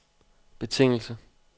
betingelse